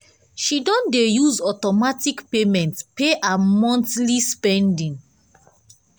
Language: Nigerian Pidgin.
she don dey use automatic payment pay her monthly spending.